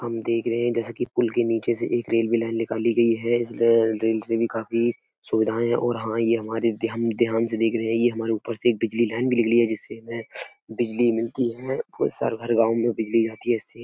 हम देख रहे हैं जैसे की पुल के नीचे से एक रेलवे लाइन निकाली गई है। इस र रेल से भी काफी सुविधाएं और हाँ ये हमारे ध्यान-ध्यान से देख रही है। ये हमारे ऊपर से बिजली लाइन भी निकली है। जिससे हमे बिजली मिलती है और सरभर गावं में बिजली आती है। इससे --